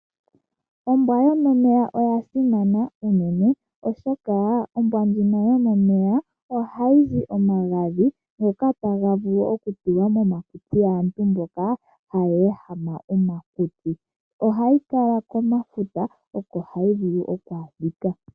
Ombwa yomomeya oyasimana uunene, oshoka ombwa ndjino yomomeya ohayizi omagadhi, ngoka hagavulu okutulwa momakutsi gaantu mboka haya ehama omakutsi. Ohayi kala komafuta, okohayivulu okwaadhika.